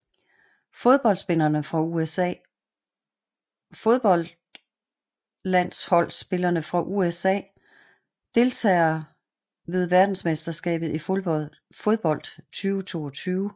Fodboldspillere fra USA Fodboldlandsholdsspillere fra USA Deltagere ved verdensmesterskabet i fodbold 2022